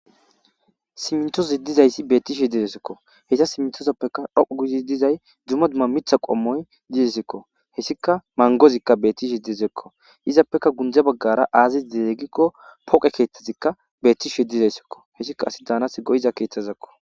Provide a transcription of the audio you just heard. Simtoozi dizayssi bettishe didesekko heysa simtozoppeka dhou gudi dizay dzuma dumma mitha qommoy didesikko hessika mangozikka bettishe dizekko izappeka gunje baggara aazi deeggikko poqe keeththazikka beettishe dizayssekko hessika asi daanas goyiza keeththazekko.